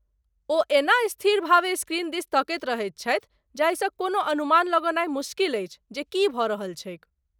ओ एना स्थिरभावे स्क्रीन दिस तकैत रहैत छथि जाहिसँ कोनो अनुमान लगौनाइ मोस्किल अछि जे की भ रहल छैक ।